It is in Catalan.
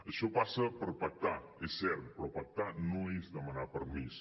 això passa per pactar és cert però pactar no és demanar permís